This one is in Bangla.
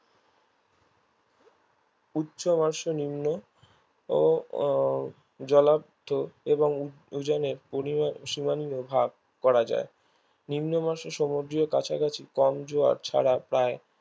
উচ্চমাসে নিম্ন ও আহ জলাদ্ধ এবং উ উজানের পলি ও সীমা নিও ভাগ করা যায় নিম্নমাসে সমুদ্রী ও কাছাকাছি কম জোয়ার ছাড়া প্রায়